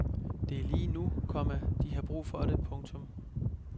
Det er lige nu, komma de har brug for det. punktum